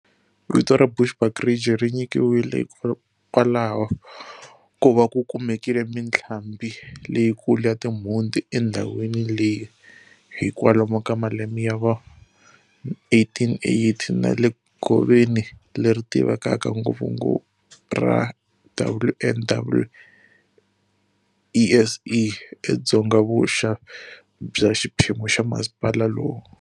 Vito ra Bushbuck Ridge ri nyikiwile hikwalaho ko va ku kumekile mitlhambi leyikulu ya timhunti endhawini leyi hi kwalomu ka malembe ya va1880, na le goveni leri tivekaka ngopfu ra WNW-ESE edzongavuxa bya xiphemu xa masipala lowu.